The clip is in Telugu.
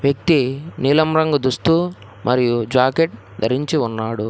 నీలం రంగు దుస్తు మరియు జాకెట్ ధరించి ఉన్నాడు.